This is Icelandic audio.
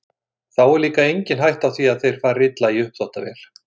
Þá er líka engin hætta á því að þeir fari illa í uppþvottavél.